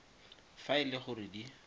fa e le gore di